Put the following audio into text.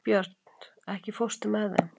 Björt, ekki fórstu með þeim?